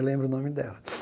Eu lembro o nome dela.